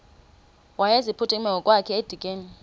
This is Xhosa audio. wayeziphuthume ngokwakhe edikeni